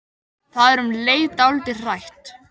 Það er um leið dálítið hrætt.